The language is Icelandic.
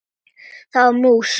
Það var mús!